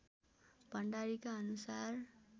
भण्डारीका अनुसार